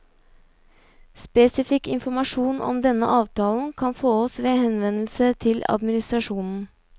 Spesifikk informasjon om denne avtalen kan fåes ved henvendelse til administrasjonen.